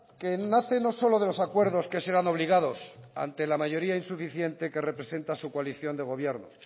que nace no solo de los acuerdos que serán obligados ante la mayoría insuficiente que representa su coalición de gobierno